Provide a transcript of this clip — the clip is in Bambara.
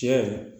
Cɛ